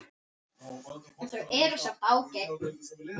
En þau eru samt ágæt.